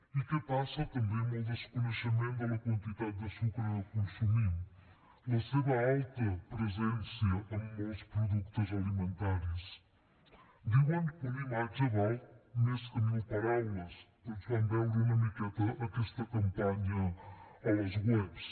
i què passa també amb el desconeixement de la quantitat de sucre que consumim la seva alta presència en molts productes alimentaris diuen que una imatge val més que mil paraules tots vam veure una miqueta aquesta campanya a les webs